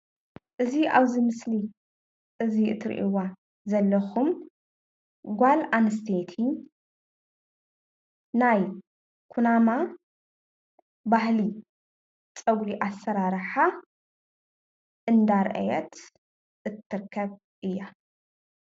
እዚ ኣብዚ ምስሊ እዙይ እትርእይዋ ዘለኩም ጓል ኣንስተይቲ ናይ ኩናማ ባህሊ ፀጉሪ ኣሰራርሓ እንዳርአየት እትርከብ እያ።